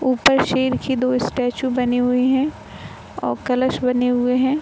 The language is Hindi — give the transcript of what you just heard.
ऊपर शेर के दो स्टैचू बने हुए हैं और कलश बने हुए हैं।